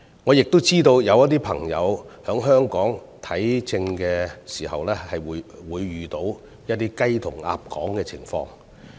我亦知道有些少數族裔朋友在香港求診時，會遇到"雞同鴨講"的情況。